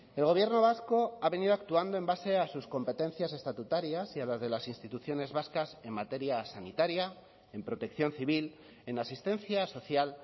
el gobierno vasco ha venido actuando en base a sus competencias estatutarias y a las de las instituciones vascas en materia sanitaria en protección civil en asistencia social